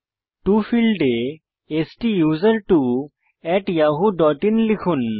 টো ফীল্ডে STUSERTWOyahoo IN লিখুন